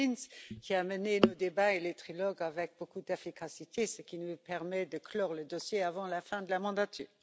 Klinz, qui a mené nos débats et les trilogues avec beaucoup d'efficacité, ce qui nous permet de clore le dossier avant la fin de la mandature.